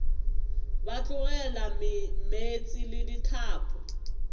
ba tlogela meetse le dithapo